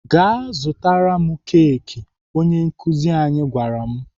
"Gaa zụtara m keki!" Onye nkuzi anyị gwara m.